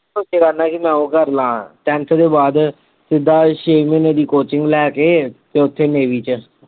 ਮੈ ਉਹ ਕਰ ਲਾਂ tenth ਦੇ ਬਾਅਦ ਸਿੱਧਾ ਛੇ ਮਹੀਨੇ ਦੀ coaching ਲੈ ਕੇ ਤੇ ਓਥੇ navy ਚ